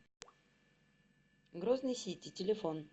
грозный сити телефон